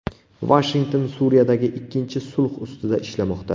Vashington Suriyadagi ikkinchi sulh ustida ishlamoqda.